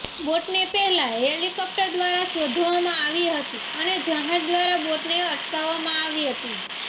બોટને પહેલા હેલિકોપ્ટર દ્વારા શોધવામાં આવી હતી અને જહાજ દ્વારા બોટને અટકાવવામાં આવી હતી